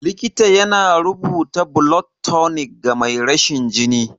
Likita yana rubuta blood tonic ga mai rashin jini.